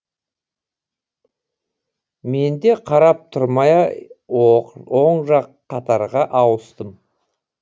менде қарап тұрмай оң жақ қатарға ауыстым